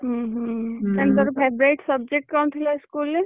ଉଁ ହୁଁ ତାହେନେ ତୋର favourite subject କଣ ଥିଲା school ରେ?